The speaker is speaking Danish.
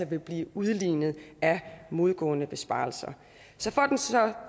vil blive udlignet af modgående besparelser så